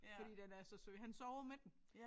Fordi den er så sød han sover med den